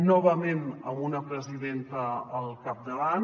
novament amb una presidenta al capdavant